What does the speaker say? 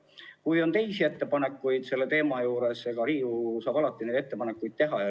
Kui on teisi ettepanekuid selle teema kohta, siis Riigikogu saab alati neid teha.